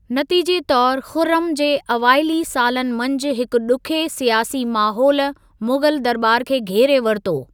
नतीजे तौरु खुर्रम जे अवाइली सालनि मंझि हिकु ॾुखिये सियासी माहोलु मुग़ल दरॿार खे घेरे वरितो।